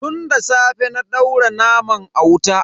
Tun da safe na daura naman a wuta.